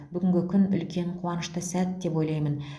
бүгінгі күн үлкен қуанышты сәт деп ойлаймын